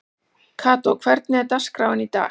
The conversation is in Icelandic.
Kató, hvernig er dagskráin í dag?